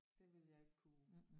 Det ville jeg ikke kunne